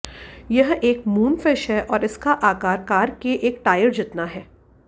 यह एक मूनफिश है और इसका आकार कार के एक टायर जितना है